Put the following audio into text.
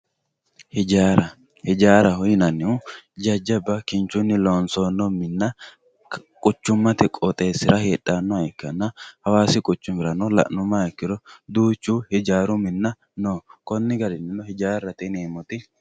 Ijjara, ijjaraho yinanihu jajaba kinchunni loonsonni minna quchumate qooxxesira heedhanoha ikkanna hawassi quchumirano lanumaha ikkiro duuchu ijjaru minna no koni garinni ijjarate yinemoti.